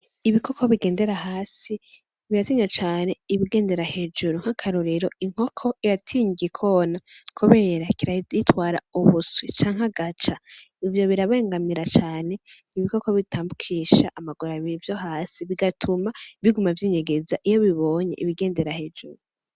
Ibikoko bigendera hasi biratinya cane ibigendera hejuru, nk’akarorero inkoko iratinya igikona kubera kirayitwara ubuswi canke agaca . Ivyo birabangamira cane ibikoko bitambukisha amaguru abiri vyo hasi bigatuma biguma vyinyegeza iyo bibonye ibigendera hejuru.